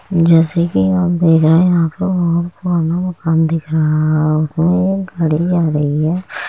जैसे कि आप देख रहे हैं यहां पे बोहत पुराना मकान दिख रहा है उसमें एक गाड़ी जा रही है।